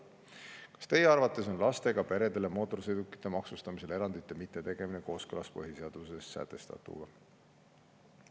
Kas teie arvates on lastega peredele mootorsõidukite maksustamisel erandite mitte tegemine kooskõlas põhiseaduses sätestatuga?